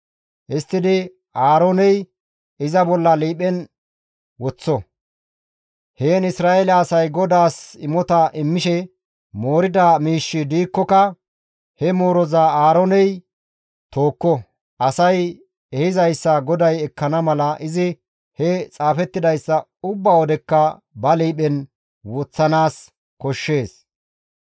Histtidi Aarooney iza ba liiphen woththo; heen Isra7eele asay GODAAS imota immishe moorida miishshi diikkoka he mooroza Aarooney tookko. Asay ehizayssa GODAY ekkana mala izi he xaafettidayssa ubba wodekka ba liiphen woththanaas koshshees.